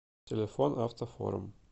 телефон автофорум